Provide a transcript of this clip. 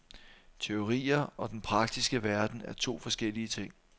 Teorier og den praktiske verden er to forskellige ting.